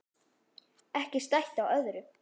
Ekki stætt á öðru.